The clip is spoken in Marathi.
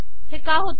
हे का होते